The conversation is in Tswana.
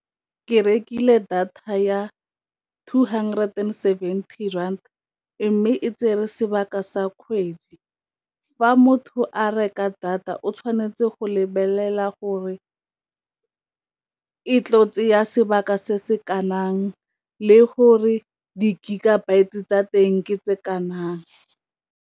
Ke rekile data ya two hundred and seventy rand mme e tsere sebaka sa kgwedi, fa motho a reka data o tshwanetse go lebelela gore e tlo sebaka se se le gore di gigabyte e tsa teng ke tse .